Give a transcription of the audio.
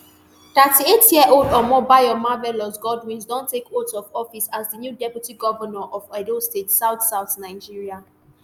thirty-eightyearold omobayo marvellous godwins don take oath of office as di new deputy govnor of edo state southsouth nigeria